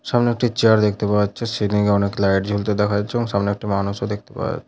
সামনে একটি চেয়ার দেখতে পাওয়া যাচ্ছে। সিলিং - এ অনেক লাইট জ্বলতে দেখা যাচ্ছে এবং সামনে একটি মানুষও দেখতে পাওয়া --